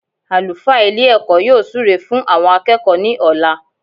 Àlùfáà Ilé èkó yóò súre fún àwon akéèkó ní òla